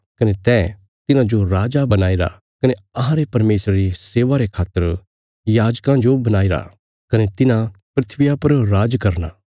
कने तैं तिन्हाजो राजा बणाईरा कने अहांरे परमेशरा री सेवा रे खातर याजकां जो बणाईरा कने तिन्हां धरतिया पर राज करना